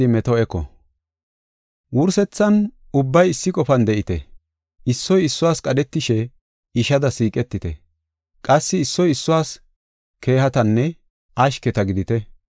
Wursethan, ubbay issi qofan de7ite. Issoy issuwas qadhetishe, ishada siiqetite; qassi issoy issuwas keehatanne ashketa gidite.